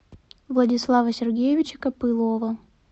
владислава сергеевича копылова